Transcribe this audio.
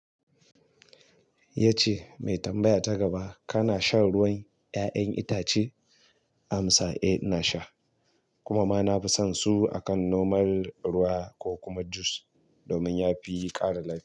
Yace mai tambaya ta gaba kana shan ruwan 'ya'yan itace? Amsa eh, ina sha kuma ma nafi son su akan normal ruwa ko kuma jus domin yafi ƙara lafiya.